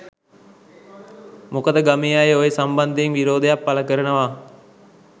මොකද ගමේ අය ඔය සම්බන්ධයෙන් විරෝධයක් පළ කරනවා.